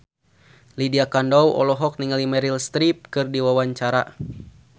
Lydia Kandou olohok ningali Meryl Streep keur diwawancara